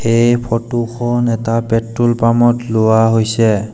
এই ফটো খন এটা পেট্ৰল পাম ত লোৱা হৈছে।